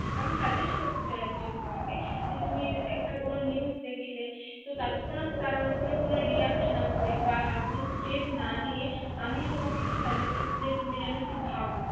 আমি SUGGEST করতে চাই ACTUALLY তোমাকে যে তুমি একটা কোনো NEWS দেখছিলে তো তাৎক্ষনাৎ তারউপর কোনো REACT না করে বা কোনো STEP না নিয়ে আমি তোমাকে একটু SUGGEST চাই তুমি জেন্ একটু ভাব